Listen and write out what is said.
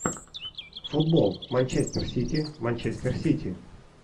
футбол манчестер сити манчестер сити